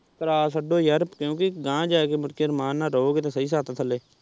ਕਰਾ ਛੱਡੋ ਯਾਰ ਕਿਉਂਕਿ ਅਗਾਂਹ ਜਾ ਕੇ ਨੀਚੇ ਆਰਾਮ ਨਾਲ਼ ਰਹੋਗੇ ਤਾਂ ਸਹੀ ਛੱਤ ਥੱਲੇ।